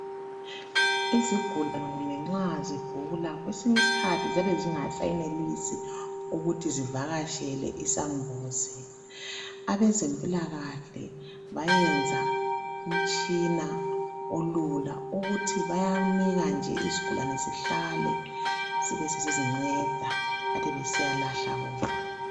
Izigulane nxa zigula kwesinye isikhathi ziyabe zingasayenelisi ukuthi zivakatshele isambuzi. Abezempilakahle bayenza umtshina olula owokuthi bayanika nje izigulane zihlale zibe sezizinceda bathathe besiyalahla bona.